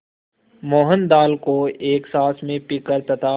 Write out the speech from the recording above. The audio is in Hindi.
मोहन दाल को एक साँस में पीकर तथा